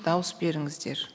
дауыс беріңіздер